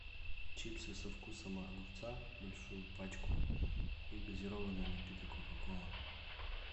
чипсы со вкусом огурца большую пачку и газированный напиток кока кола